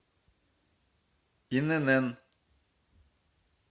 инн